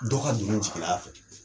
Dɔ ka doni min sigil'a fɛ